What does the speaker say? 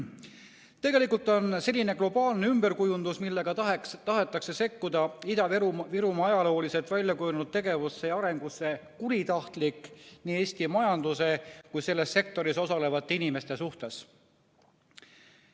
Tegelikult on selline globaalne ümberkujundus, millega tahetakse sekkuda Ida-Virumaa ajalooliselt välja kujunenud tegevusse ja arengusse, kuritahtlik nii Eesti majanduse kui ka selles sektoris osalevate inimeste suhtes.